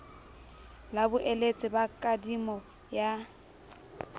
la boeletsi ba kadimo ya